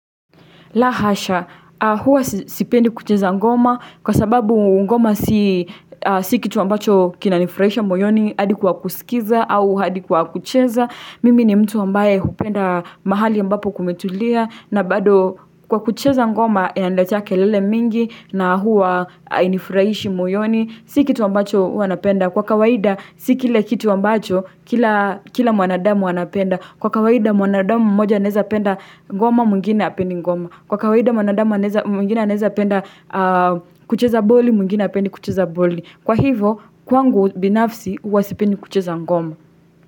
La hasha, huwa sipendi kucheza ngoma kwa sababu ngoma si kitu ambacho kinanifurahisha moyoni hadi kwa kusikiza au hadi kwa kucheza. Mimi ni mtu ambaye hupenda mahali ambapo kumetulia na bado kwa kucheza ngoma inaletea kelele mingi na huwa hainifurahishi moyoni. Si kitu ambacho huwa napenda kwa kawaida si kile kitu ambacho kila kila mwanadamu anapenda. Kwa kawaida mwanadamu moja naezapenda ngomo mwngine hapendi ngoma. Kwa kawaida mwanadama anaeza mwingina anaeza penda kucheza boli mwingine hapendi kucheza boli Kwa hivo kwangu binafsi huwa sipendi kucheza ngoma.